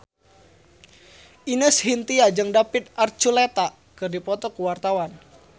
Ine Shintya jeung David Archuletta keur dipoto ku wartawan